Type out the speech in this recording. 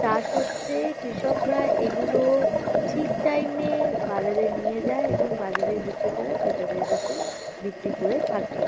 চাষ হচ্ছে। কৃষকরা এগুলো ঠিক টাইম -এ বাজারে নিয়ে যায় এবং বাজারের বিক্রেতারা ক্রেতাদের কাছে বিক্রি করে থাকে।